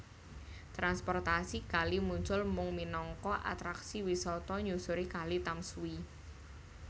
Transportasi kali muncul mung minangka atraksi wisata nyusuri Kali Tamsui